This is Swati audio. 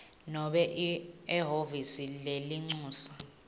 nobe ehhovisi lelincusa